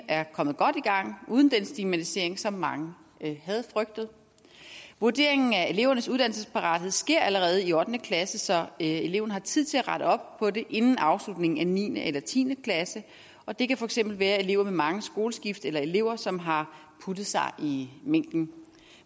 er kommet godt i gang uden den stigmatisering som mange havde frygtet vurderingen af elevernes uddannelsesparathed sker allerede i ottende klasse så eleven har tid til at rette op på det inden afslutningen af niende eller tiende klasse og det kan for eksempel være elever med mange skoleskift eller elever som har puttet sig i mængden